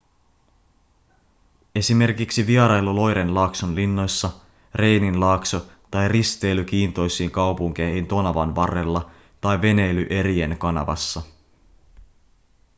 esimerkiksi vierailu loiren laakson linnoissa reinin laakso tai risteily kiintoisiin kaupunkeihin tonavan varrella tai veneily erien kanavassa